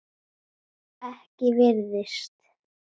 Ekki virtist